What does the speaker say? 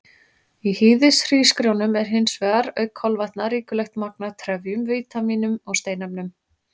Í hýðishrísgrjónum er hins vegar, auk kolvetna, ríkulegt magn af trefjum, vítamínum og steinefnum.